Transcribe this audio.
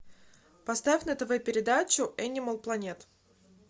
поставь на тв передачу энимал планет